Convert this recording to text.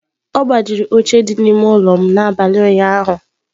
Ọ gbajiri oche dị n'ime ụlọ m n'abalị ụnyaahụ.